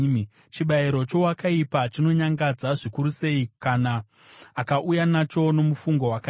Chibayiro chowakaipa chinonyangadza, zvikuru sei kana akauya nacho nomufungo wakaipa!